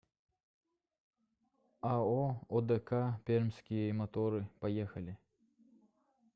ао одк пермские моторы поехали